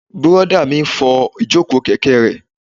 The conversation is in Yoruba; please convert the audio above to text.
Bùrọ̀dá mi n fọ ìjòkó kẹ̀kẹ́ rẹ̀